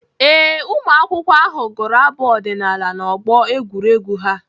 Ee, ụmụakwụkwọ ahụ gụrụ abụ ọdịnaala n'ọgbọ egwuregwu ha.